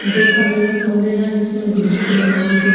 देख पा रही हूँ एक मंदिर है जिसमें बुद्धा की बहु मूर्ति --